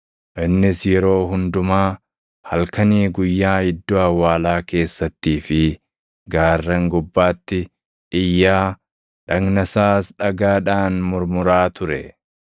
Innis yeroo hundumaa, halkanii guyyaa iddoo awwaalaa keessattii fi gaarran gubbaatti iyyaa, dhagna isaas dhagaadhaan murmuraa ture.